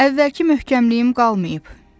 Əvvəlki möhkəmliyim qalmayıb.